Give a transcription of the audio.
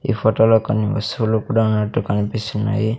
ఈ ఫోటోలో కొన్ని వస్తువులు కూడా ఆనట్టు కనిపిస్తున్నాయి.